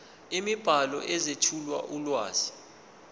imibhalo ezethula ulwazi